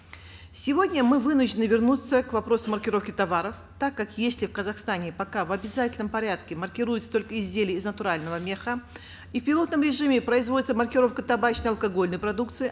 сегодня мы вынуждены вернуться к вопросу маркировки товаров так как если в казахстане пока в обязательном порядке маркируются только изделия из натурального меха и в пилотном режиме производится маркировка табачно алкогольной продукции